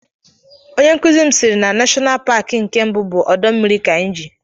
Onye nkụzi m siri na Nashọnal Paki nke mbụ bụ Ọdọ mmiri Kainji.